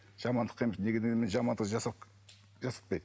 жамандыққа енді неге дегенмен жамандық жасап жасатпайды